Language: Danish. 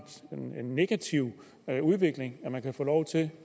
negativ udvikling at man kan få lov til